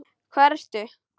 Hvar ertu?